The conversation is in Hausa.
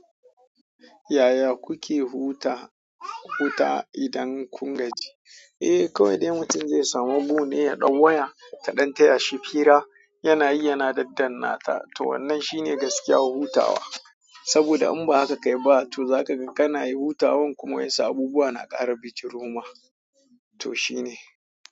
Yaya kuke hutawa idan kun gaji? Eh, kawai dai mutum zai samu gu ne ya ɗau waya ta ɗan taya shi fira, yana yi yana dandan nata. To wannan shi ne gaskiya huhutawa. Saboda in ba haka ka yi ba, to zaka ga kana yi hutawan kuma wasu abubuwa na ƙara bijiro ma. Toh shine.